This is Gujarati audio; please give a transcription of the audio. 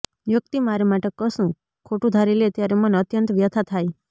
વ્યક્તિ મારે માટે કશુંક ખોટું ધારી લે ત્યારે મને અત્યંત વ્યથા થાય